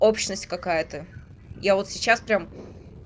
общность какая-то я вот сейчас прям